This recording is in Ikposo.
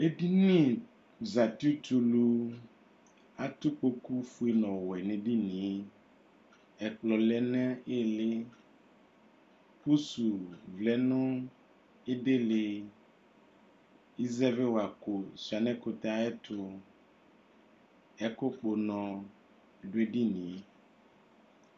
Edini zati tulu adu ikpoku ofue nu ɔwɛ nu edinie ɛkplɔ nili lɛ nu ili pusu lɛ nu ilili izɛviwa ko shua nu ɛkutɛ ayɛtu ɛku kpɔ unɔ du edinie